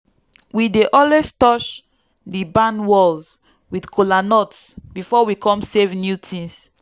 we dey always touch di barn walls with kola nut before we come save new thing.